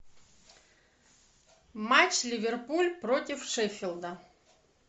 матч ливерпуль против шеффилда